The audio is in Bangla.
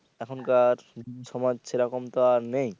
এখনকার সমাজ সেরকম তো নেই